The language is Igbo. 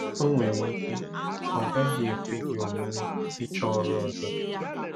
O nwere ike ọ gaghị ekwe gị omume ịchọ ọrụ ọzọ.